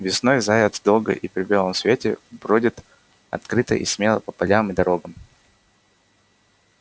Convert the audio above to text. весной заяц долго и при белом свете бродит открыто и смело по полям и дорогам